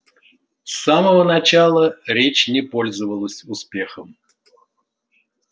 с самого начала речь не пользовалась успехом